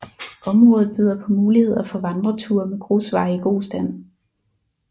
Området byder på muligheder for vandreture med grusveje i god stand